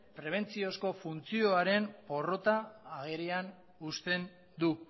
prebentziozko funtzioaren porrota agerian uzten du